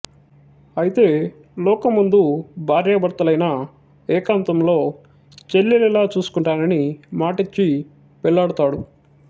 అయితే లోకం ముందు భార్యాభర్తలైనా ఏకాంతంలో చెల్లెలిలా చూసుకుంటానని మాటిచ్చి పెళ్ళాడతాడు